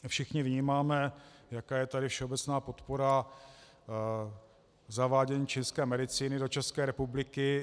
Všichni vnímáme, jaká je tady všeobecná podpora zavádění čínské medicíny do České republiky.